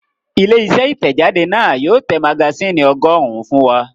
Ilé-iṣẹ́ Ìtẹ̀jáde náà yóò tẹ magasínì ọgọ́rùn-ún fún wa.